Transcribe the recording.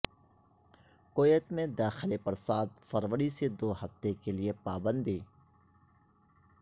Kuwait میں داخلے پر سات فروری سے دو ہفتے کے لیے پابندی